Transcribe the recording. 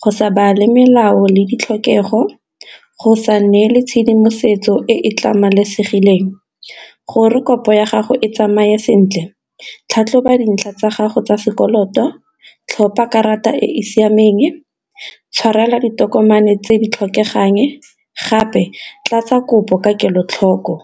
go sa bale melao le ditlhokego, go sa neele tshedimosetso e e tlamasegileng. Gore kopo ya gago e tsamaye sentle tlhatlhoba di ntlha tsa gago tsa sekoloto, tlhopa karata e e siameng, tshwarela ditokomane tse di tlhokegang, gape tla tsa kopo ka kelotlhoko.